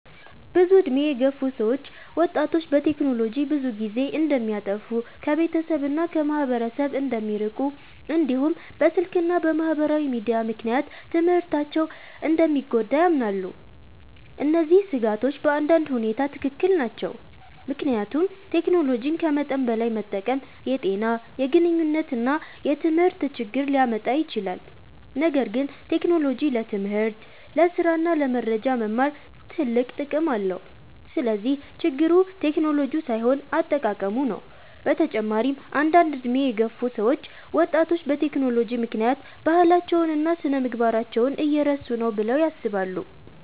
ብዙ ዕድሜ የገፉ ሰዎች ወጣቶች በቴክኖሎጂ ብዙ ጊዜ እንደሚያጠፉ፣ ከቤተሰብ እና ከማህበረሰብ እንደሚርቁ፣ እንዲሁም በስልክ እና በማህበራዊ ሚዲያ ምክንያት ትምህርታቸው እንደሚጎዳ ያምናሉ። እነዚህ ስጋቶች በአንዳንድ ሁኔታ ትክክል ናቸው፣ ምክንያቱም ቴክኖሎጂን ከመጠን በላይ መጠቀም የጤና፣ የግንኙነት እና የትምህርት ችግር ሊያመጣ ይችላል። ነገር ግን ቴክኖሎጂ ለትምህርት፣ ለስራ እና ለመረጃ መማር ትልቅ ጥቅም አለው። ስለዚህ ችግሩ ቴክኖሎጂው ሳይሆን አጠቃቀሙ ነው። በተጨማሪም አንዳንድ ዕድሜ የገፉ ሰዎች ወጣቶች በቴክኖሎጂ ምክንያት ባህላቸውን እና ስነ-ምግባራቸውን እየረሱ ነው ብለው ያስባሉ።